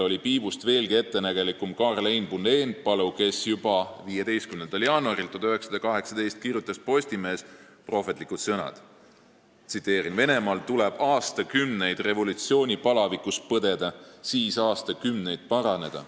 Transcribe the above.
Piibust veelgi ettenägelikum oli tollal Karl Einbund , kes juba 15. jaanuaril 1918 pani Postimehesse kirja prohvetlikud sõnad: "Venemaal tuleb aastakümneid revolutsiooni palavikus põdeda, siis aastakümneid paraneda.